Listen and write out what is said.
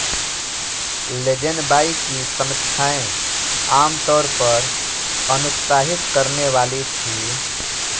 Lazenby की समीक्षाएं आम तौर पर अनुत्साहित करने वाली थीं